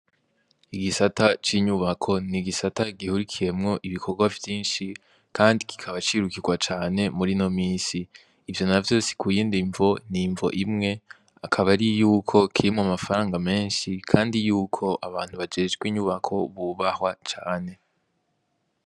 Igisata c'inyubako n'igisata gihurikiyemwo ibikorwa vyinshi Kandi kikaba cirukirwa cane murino misi. Ivyo navyo si kuyindi mvo ni imvo imwe akaba ari yuko kirimwo amafaranga menshi kandi yuko abantu bajejwe inyubako bubahwa cane .